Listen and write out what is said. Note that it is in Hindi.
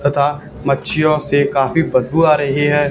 तथा मच्छियों से काफी बदबू आ रही है।